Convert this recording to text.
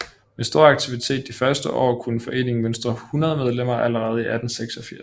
Med stor aktivitet de første år kunne foreningen mønstre 100 medlemmer allerede i 1886